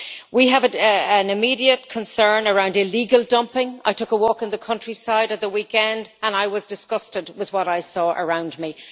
We have an immediate concern around illegal dumping, I took a walk in the countryside at the weekend and I was disgusted with what I saw around me.